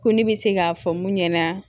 Ko ne bɛ se k'a fɔ mun ɲɛna